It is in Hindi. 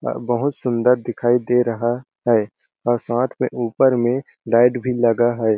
अ बहुत सुन्दर दिखाई दे रहा है और साथ में ऊपर में लाइट भी लगा है।